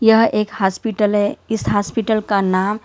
यह एक हॉस्पिटल है इस हॉस्पिटल का नाम --